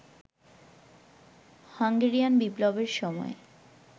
Hungarian বিপ্লবের সময়